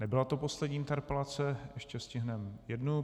Nebyla to poslední interpelace, ještě stihneme jednu.